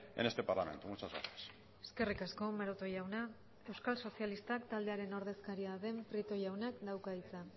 en este parlamento muchas gracias eskerrik asko maroto jauna euskal sozialistak taldearen ordezkaria den prieto jaunak dauka hitza